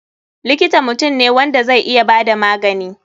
Likita mutum ne wanda zai iya bada magani.